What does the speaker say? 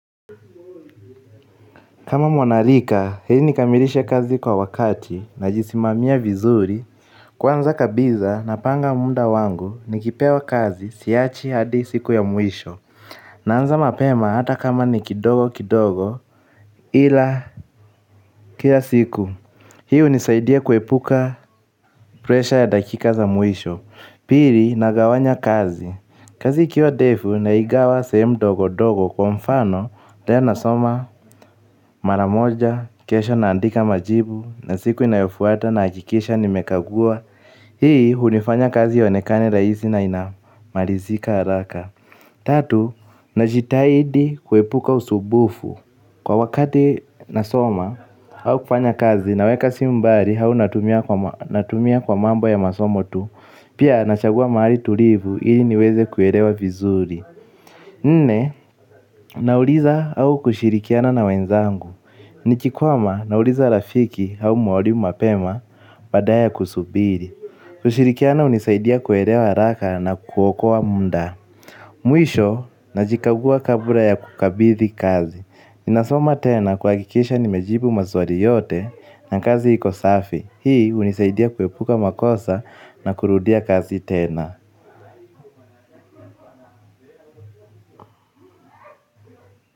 Kama mwana rika ili nikamilishe kazi kwa wakati na jisimamia vizuri. Kwanza kabisa na panga muda wangu nikipewa kazi siachi hadi siku ya mwisho. Naanza mapema hata kama ni kidogo kidogo. Ila kila siku hii hunisaidia kuepuka presha ya dakika za mwisho pili nagawanya kazi. Kazi ikiwa ndefu na igawa sehemu ndogo ndogo kwa mfano, leo nasoma, maramoja, kesho naandika majibu, nasiku inayofuata nahakikisha nimekagua, hii hunifanya kazi ionekane rahisi na inamalizika haraka. Tatu, najitahidi kuepuka usumbufu. Kwa wakati nasoma au kufanya kazi naweka simu mbali au natumia kwa mambo ya masomo tu. Pia nachagua mahali tulivu ili niweze kuelewa vizuri. Nne, nauliza au kushirikiana na wenzangu. Nikikwama nauliza rafiki au mwalimu mapema badala ya kusubiri. Kushirikiana hunisaidia kuelewa haraka na kuokoa muda. Mwisho, najikagua kabla ya kukabidhi kazi. Ninasoma tena kuhakikisha ni mejibu maswalii yote na kazi iko safi. Hii hunisaidia kuepuka makosa na kurudia kazi tena.